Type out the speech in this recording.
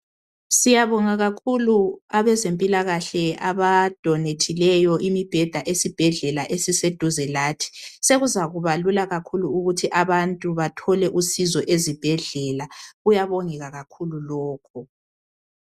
Siyabonga kakhulu abazempilakahle abadonethileyo imibheda esibhedlela esiseduze lathi. Sekuzaba Lula kakhulu ukuthi abantu bathole usizo ezibhedlela. Kuyabongeka kakhulu lokho.